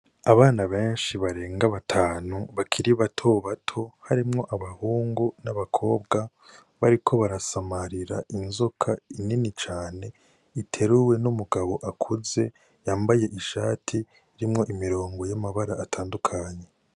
Abana benshi barenga batanu bakiri batobato harimwo abahungu n'abakobwa bariko barasamarira inzoka nini cane iteruwe n'umugabo akuze yambaye ishati irimwo imirongo y'amabara atandukanye.